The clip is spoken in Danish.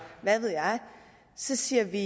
hvad ved jeg så siger vi